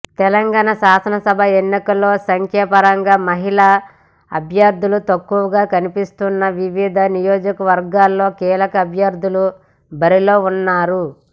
తెలంగాణ శాసనసభ ఎన్నికల్లో సంఖ్యాపరంగా మహిళా అభ్యర్థులు తక్కువగా కనిపిస్తున్నా వివిధ నియోజకవర్గాల్లో కీలక అభ్యర్థులుగా బరిలో ఉన్నారు